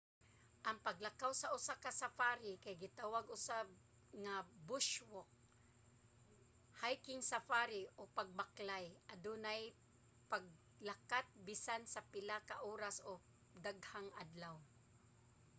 ang paglakaw sa usa ka safari kay gitawag usab nga bush walk hiking safari o pagbaklay adunay paglakat bisan sa pila ka oras o daghang adlaw